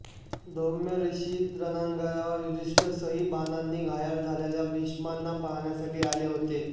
धौम्य ऋषी रणांगणावर युधिष्ठिरसह बाणांनी घायाळ झालेल्या भीष्मांना पाहण्यासाठी आले होते